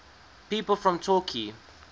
people from torquay